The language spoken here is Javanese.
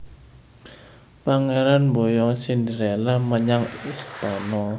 Pangéran mboyong Cinderella menyang istana